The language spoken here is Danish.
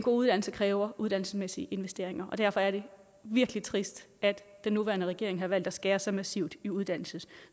uddannelse kræver uddannelsesmæssige investeringer og derfor er det virkelig trist at den nuværende regering har valgt at skære så massivt i uddannelse